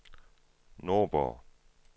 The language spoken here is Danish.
Nordborg